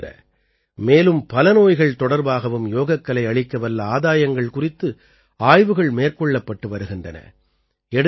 இவற்றைத் தவிர மேலும் பல நோய்கள் தொடர்பாகவும் யோகக்கலை அளிக்கவல்ல ஆதாயங்கள் குறித்து ஆய்வுகள் மேற்கொள்ளப்பட்டு வருகின்றன